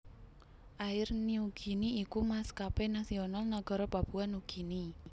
Air Niugini iku maskapé nasional nagara Papua Nugini